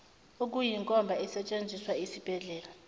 eyinkomba esetshenziswa yisibhedlela